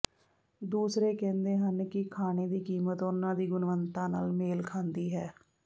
ਦੂਸਰੇ ਕਹਿੰਦੇ ਹਨ ਕਿ ਖਾਣੇ ਦੀ ਕੀਮਤ ਉਹਨਾਂ ਦੀ ਗੁਣਵੱਤਾ ਨਾਲ ਮੇਲ ਖਾਂਦੀ ਹੈ